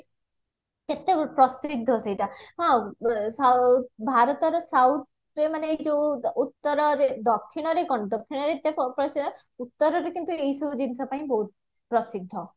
"କେତେ ପ୍ରସିଦ୍ଧ ସେଇଟା ହଁ ଭାରତର south ମାନେ ଯୋଉ ଉତ୍ତରରେ ଦକ୍ଷୀଣରେ କଣ ଦକ୍ଷୀଣରେ ଏତେ ପ୍ରସିଦ୍ଧ ଉତ୍ତରରେ କିନ୍ତୁ ଏଇ ସବୁ ଜିନିଷ